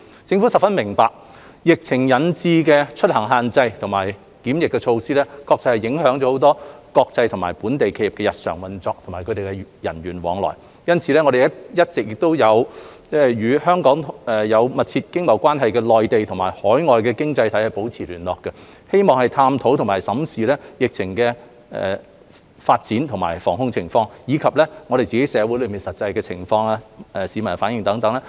政府十分明白，疫情引致的出行限制和檢疫措施影響了國際和本地企業的日常運作和人員往來，因此我們一直亦與香港有密切經貿關係的內地和海外經濟體保持聯繫，並審視疫情的發展和防控工作，以及社會的實際情況、市民的反應等。